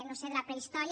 no ho sé de la prehistòria